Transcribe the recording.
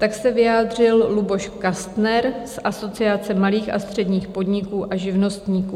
Tak se vyjádřil Luboš Kastner z Asociace malých a středních podniků a živnostníků.